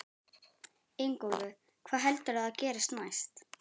Ingólfur: Hvað heldurðu að gerist næst?